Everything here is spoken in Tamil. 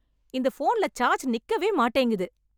இந்த போன்ல சார்ஜ் நிக்கவே மாட்டேங்குது.